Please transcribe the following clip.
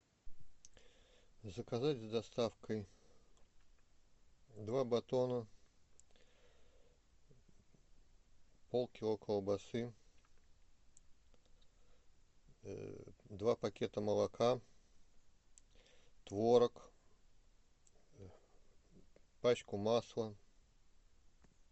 заказать с доставкой два батона полкило колбасы два пакета молока творог пачку масла